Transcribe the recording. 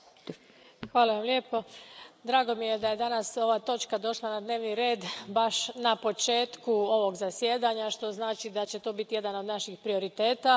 Poštovana predsjedavajuća, drago mi je da je danas ova točka došla na dnevni red baš na početku ovog zasjedanja, što znači da će to biti jedan od naših prioriteta.